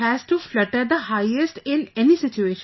It has to flutter the highest in any situation